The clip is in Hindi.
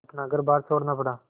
अपना घरबार छोड़ना पड़ा